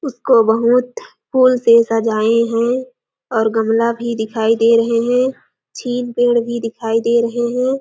उसको बहुत फूल से सजाए है और गमला भी दिखाई दे रहे है छीन पेड़ भी दिखाई दे रहे है।